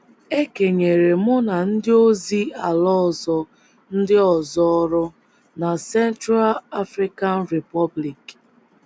E kenyere mụ na ndị ozi ala ọzọ ndị ọzọ ọrụ na Central African Republic.